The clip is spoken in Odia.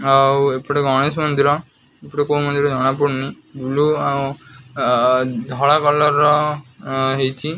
ଆଉ ଏପଟେ ଗଣେଶ ମନ୍ଦିର ଏପଟେ କୋଉ ମନ୍ଦିର ଜଣା ପଡୁନି ବ୍ଲୁ ଆଉ ଆଂ ଧଳା କଲର ର ହେଇଚି।